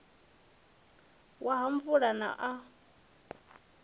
wa ha muvula na u